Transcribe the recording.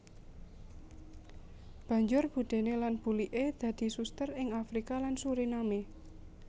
Banjur budéné lan buliké dadi suster ing Afrika lan Suriname